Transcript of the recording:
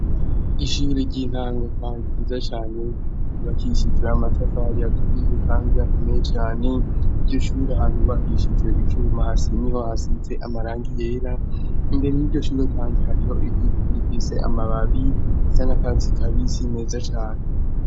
Ishuri ry'intango, kandi ijiza cane bakishizira amatafari aturiye, kandi yakomeye cane iryo shuri ahantu wakishijwe ivyuma hasi ni ho hasitse amaranga yera imbere y'irishure, kandi hariho igiki gikise amababi za na katsi kabisi meza cane.